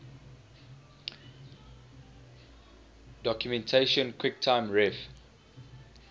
documentation quicktime ref